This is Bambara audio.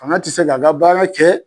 Fanga ti se ka a ka baara kɛ